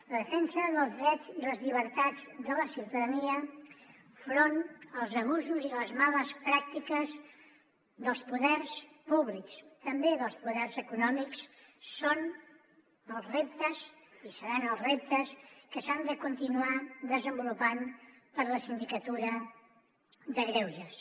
la defensa dels drets i les llibertats de la ciutadania enfront dels abusos i les males pràctiques dels poders públics també dels poders econòmics és el repte i serà el repte que s’ha de continuar desenvolupant per la sindicatura de greuges